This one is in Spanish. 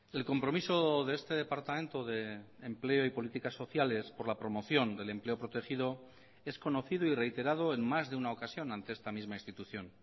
el compromiso de este departamento de empleo y políticas sociales por la promoción del empleo protegido es conocido y reiterado en más de una ocasión ante esta misma institución